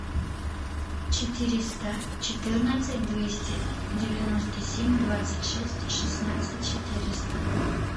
четыреста четырнадцать двести девяносто семь двадцать шесть шестнадцать четыреста